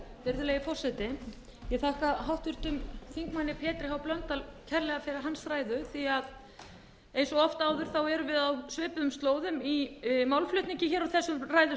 virðulegi forseti ég þakka háttvirtum þingmanni pétri h blöndal kærlega fyrir hans ræðu því að eins og oft áður erum við á svipuðum slóðum í málflutningi úr þessum ræðustól